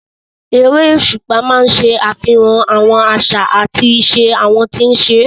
Erésùpá máa ń ṣe àfihàn àwọn àṣà àti ìṣe àwọn tí ń ṣe é